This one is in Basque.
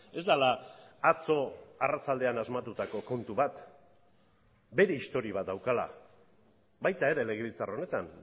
ez dela atzo arratsaldean asmatutako kontu bat bere historia bat daukala baita ere legebiltzar honetan